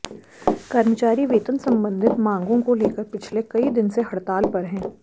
कर्मचारी वेतन सम्बंधित मांगों को लेकर पिछले कई दिन से हड़ताल पर हैं